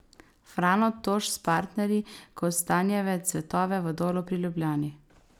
Frano Toš s partnerji Kostanjeve cvetove v Dolu pri Ljubljani.